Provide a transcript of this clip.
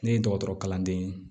Ne ye dɔgɔtɔrɔ kalanden ye